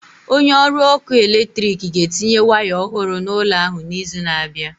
Onye ọrụ ọkụ eletrik ga-etinye waya ọhụrụ n'ụlọ ahụ n'izu na-abịa.